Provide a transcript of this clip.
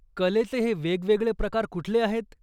कलेचे हे वेगवेगळे प्रकार कुठले आहेत ?